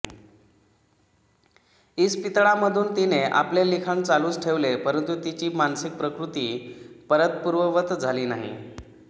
इस्पितळामधून तिने आपले लिखाण चालूच ठेवले परंतु तिची मानसिक प्रकृती परत पुर्ववत झाली नाही